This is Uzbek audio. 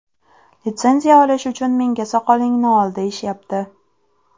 Litsenziya olish uchun menga soqolingni ol deyishayapti.